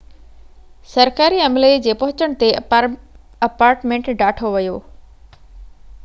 سرڪاري عملي جي پهچڻ تي اپارٽمينٽ ڍاٺو ويو